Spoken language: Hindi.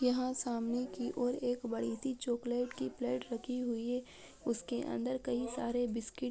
यहा सामने के और एक बड़ी चॉकलेट की प्लेट रखी हुई है उसके अंदर कई सारी बिस्कट --